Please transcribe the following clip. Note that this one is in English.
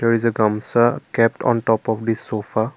it is a come saw kept on top of the sofa.